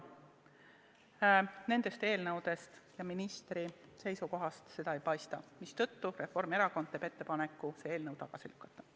Nendest eelnõudest ja ministri seisukohast seda ei paista, mistõttu Reformierakond teeb ettepaneku see eelnõu tagasi lükata.